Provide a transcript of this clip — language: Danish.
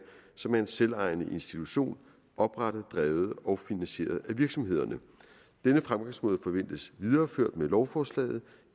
som er en selvejende institution oprettet drevet og finansieret af virksomhederne denne fremgangsmåde forventes videreført med lovforslaget